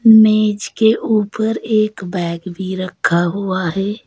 मेज के ऊपर एक बैग भी रखा हुआ है।